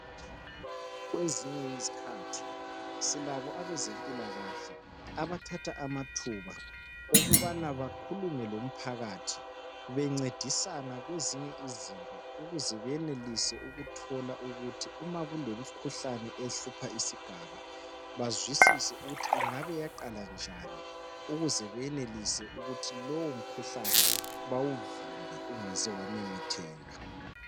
Kwezinye izikhathi , silabo ebezempila kahle abathatha amathuba okubana bakhulume lomphakathi bencedisana kwezinye izinto ukuze benelise ukuthola ukuthi umakulomkhuhlane ehlupha isigaba bazwisise ukuthi ingabe yaqala ,njani ukuze benelise ukuthi lowo mkhuhlane bawuvimbe ungaze wamemetheka.